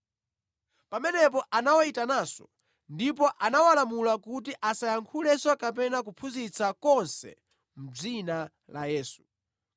Pamenepo anawayitananso ndipo anawalamula kuti asayankhule kapena kuphunzitsa konse mʼdzina la Yesu.